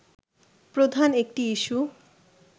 প্রধান একটি ইস্যু